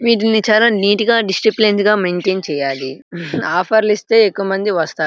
వీటిని చాలా నీటుగా డిస్ప్లేయిన్గా మైంటైన్ చెయ్యాలి ఆఫర్స్ ఇసితేయ్ చాలా మంది వస్తారు.